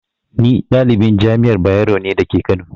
Ni ɗalibin Jami'ar Bayero ne dake kano